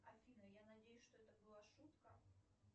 афина я надеюсь что это была шутка